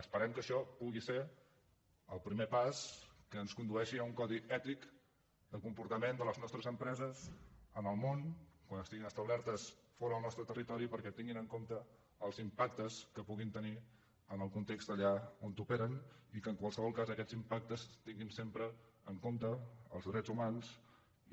esperem que això pugui ser el primer pas que ens condueixi a un codi ètic de comportament de les nostres empreses en el món quan estiguin establertes fora del nostra territori perquè tinguin en compte els impactes que puguin tenir en el context allà on operen i que en qualsevol cas aquests impactes tinguin sempre en compte els drets humans